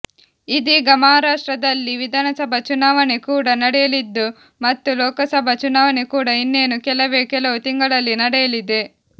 ಇದೀಗ ಮಹಾರಾಷ್ಟ್ರದಲ್ಲಿ ವಿಧಾನಸಭಾ ಚುನಾವಣೆ ಕೂಡ ನಡೆಯಲಿದ್ದು ಮತ್ತು ಲೋಕಸಭಾ ಚುನಾವಣೆ ಕೂಡ ಇನ್ನೇನು ಕೆಲವೇ ಕೆಲವು ತಿಂಗಳಲ್ಲಿ ನಡೆಯಲಿದೆ